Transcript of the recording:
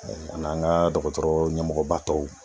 An n'an ka dɔgɔtɔrɔ ɲɛmɔgɔ ba tɔw.